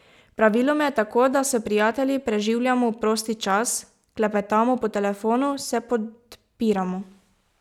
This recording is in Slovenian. Praviloma je tako, da s prijatelji preživljamo prosti čas, klepetamo po telefonu, se podpiramo.